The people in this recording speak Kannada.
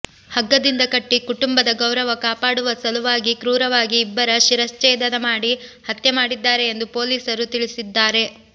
ಹಗ್ಗದಿಂದ ಕಟ್ಟಿ ಕುಟುಂಬದ ಗೌರವ ಕಾಪಾಡುವ ಸಲುವಾಗಿ ಕ್ರೂರವಾಗಿ ಇಬ್ಬರ ಶಿರಚ್ಛೇದನ ಮಾಡಿ ಹತ್ಯೆ ಮಾಡಿದ್ದಾರೆ ಎಂದು ಪೊಲೀಸರು ತಿಳಿಸಿದ್ದಾರೆ